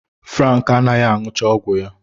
Frank anaghị aṅụchaọgwụ ya